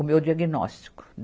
o meu diagnóstico.